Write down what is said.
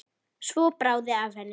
Svo bráði af henni.